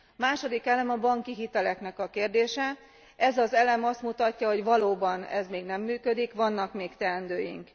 Második elem a banki hitelek kérdése, ez az elem azt mutatja, hogy valóban ez még nem működik, vannak még teendőink.